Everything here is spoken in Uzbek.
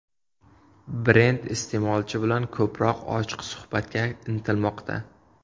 Brend iste’molchi bilan ko‘proq ochiq suhbatga intilmoqda.